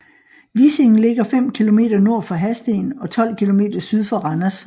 Vissing ligger fem kilometer nord for Hadsten og 12 kilometer syd for Randers